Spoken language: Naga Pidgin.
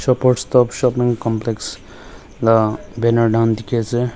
shopers stop aru complx laga banner dan Delhi ase.